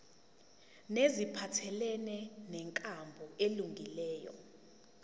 neziphathelene nenkambo elungileyo